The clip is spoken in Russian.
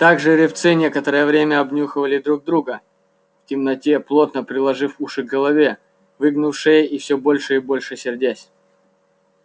так жеребцы некоторое время обнюхивали друг друга в темноте плотно приложив уши к голове выгнув шеи и всё больше и больше сердясь